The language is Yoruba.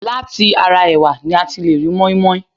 Láti ara ẹ̀wà ni a ti lè ri mọ́inmọ́in